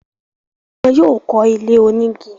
wọn yóò kọ́ ilé onígi.